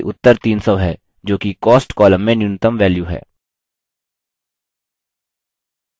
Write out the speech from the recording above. ध्यान दें कि उत्तर 300 है जोकि cost column में न्यूनतम वैल्यू है